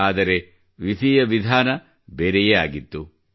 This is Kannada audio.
ಆದರೆ ವಿಧಿಯ ವಿಧಾನ ಬೆರೆಯೇ ಆಗಿತ್ತು